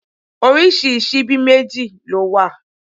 Oríṣi síbí méjì ló wà.